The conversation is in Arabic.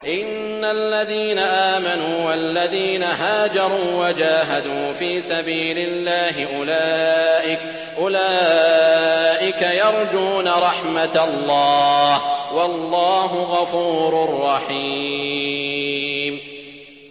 إِنَّ الَّذِينَ آمَنُوا وَالَّذِينَ هَاجَرُوا وَجَاهَدُوا فِي سَبِيلِ اللَّهِ أُولَٰئِكَ يَرْجُونَ رَحْمَتَ اللَّهِ ۚ وَاللَّهُ غَفُورٌ رَّحِيمٌ